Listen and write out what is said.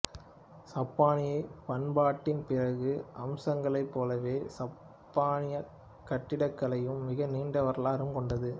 சப்பானியப் பண்பாட்டின் பிற அம்சங்களைப் போலவே சப்பானியக் கட்டிடக்கலையும் மிக நீண்ட வரலாறு கொண்டது